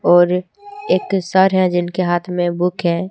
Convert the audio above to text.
और एक सार है जिनके हाथ में बुक है।